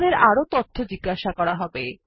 আমাদে18আরো তথ্য জিজ্ঞাসা করা হবে